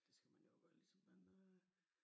Det skal man jo også gøre ligesom man øh